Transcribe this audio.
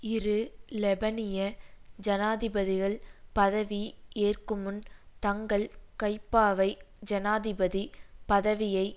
இரு லெபனிய ஜனாதிபதிகள் பதவி ஏற்குமுன் தங்கள் கைப்பாவை ஜனாதிபதி பதவியை